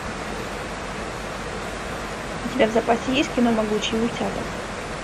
у тебя в запасе есть кино могучие утята